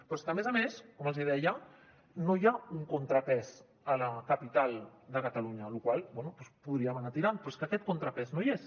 però és que a més a més com els hi deia no hi ha un contrapès a la capital de catalunya amb la qual cosa bé podríem anar tirant però és que aquest contrapès no hi és